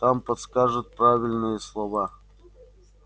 там подскажут правильные слова